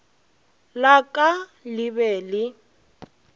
la ka le be le